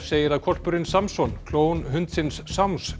segir að hvolpurinn Samson hundsins